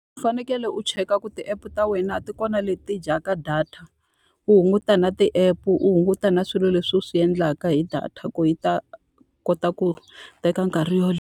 U fanekele u cheka ku ti-app ta wena ti kona leti dya ka data. U hunguta na ti-app, u hunguta na swilo leswi u swi endlaka hi data, ku yi ta kota ku teka nkarhi .